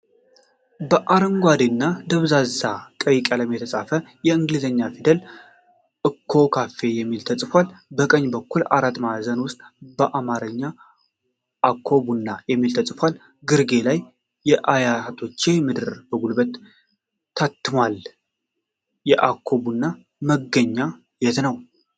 በአረንጓዴ እና ደብዛዛ ቀይ ቀለም የተፃፈ በእንግሊዘኛ ፊደል " አኮ ኮፊ " የሚል ተፅፏል። ከቀኝ በአራት ማዕዘን ዉስጥ በአማረኛ "አኮ ቡና " የሚል ተፅፏል። ግርጌ ላይ "ከአያቶቼ ምድር " በጉልህ ታትሟል። የአኮ ቡና መገኛ የት ነዉ?